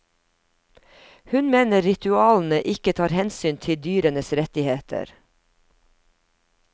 Hun mener ritualene ikke tar hensyn til dyrenes rettigheter.